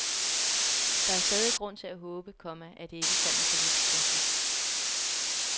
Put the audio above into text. Der er stadig grund til at håbe, komma at det ikke kommer så vidt. punktum